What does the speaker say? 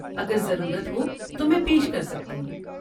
اگر ضرورت ہو تو میں پیش کر سکتی ہوں۔